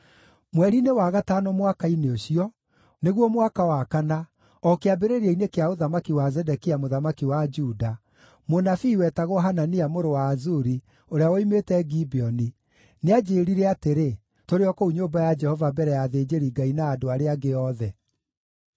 Mweri-inĩ wa gatano mwaka-inĩ ũcio, nĩguo mwaka wa kana, o kĩambĩrĩria-inĩ kĩa ũthamaki wa Zedekia mũthamaki wa Juda, mũnabii wetagwo Hanania mũrũ wa Azuri, ũrĩa woimĩte Gibeoni, nĩanjĩĩrire atĩrĩ, tũrĩ o kũu nyũmba ya Jehova mbere ya athĩnjĩri-Ngai na andũ arĩa angĩ othe: